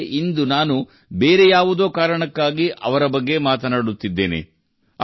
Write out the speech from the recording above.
ಆದರೆ ಇಂದು ನಾನು ಬೇರೆ ಯಾವುದೋ ಕಾರಣಕ್ಕಾಗಿ ಅವರ ಬಗ್ಗೆ ಮಾತನಾಡುತ್ತಿದ್ದೇನೆ